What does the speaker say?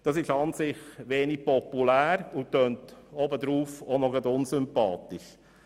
Das ist an und für sich wenig populär und tönt auch noch unsympathisch.